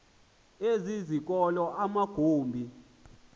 ezi zikolo amagumbi